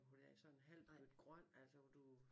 Hvor der er sådan en halv bøtte grøn altså hvor du